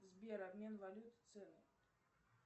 сбер обмен валют цены